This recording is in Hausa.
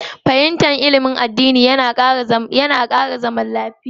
Fahimtar ilimin addinai yana ƴelwantar da zaman lafiya.